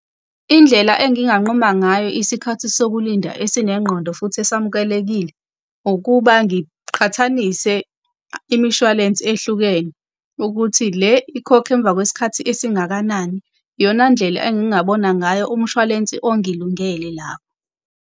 Indlela enginganquma ngayo isikhathi sokulinda esinengqondo futhi esamukelekile ukuba ngiqhathanise imishwalense ehlukene, ukuthi le ikhokha emva kwesikhathi esingakanani. Iyona ndlela engingabona ngayo umshwalense ongilungele lapho.